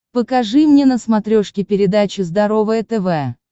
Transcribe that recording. покажи мне на смотрешке передачу здоровое тв